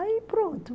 Aí, pronto.